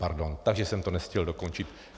Pardon, takže jsem to nestihl dokončit.